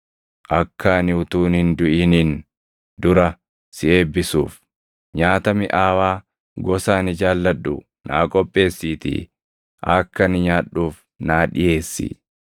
Akka ani utuun hin duʼiniin dura si eebbisuuf, nyaata miʼaawaa gosa ani jaalladhu naa qopheessiitii akka ani nyaadhuuf naa dhiʼeessi.”